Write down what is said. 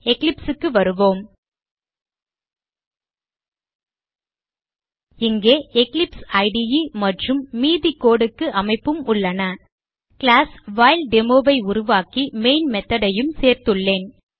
Eclipse க்கு வருவோம் இங்கே எக்லிப்ஸ் இடே மற்றும் மீதி code க்கு அமைப்பும் உள்ளன கிளாஸ் WhileDemo ஐ உருவாக்கி மெயின் method ஐயும் சேர்த்துள்ளேன்